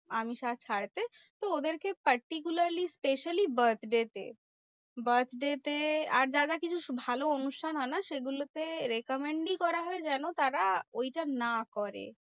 আমিষ আর খাওয়াতে। তো ওদেরকে particularly especially birthday তে। birthday তে আর যারা কিছু ভালো হয়না সেগুলো তে recommend ই করা হয় যেন তারা ঐটা না করে।